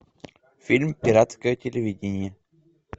фильм пиратское телевидение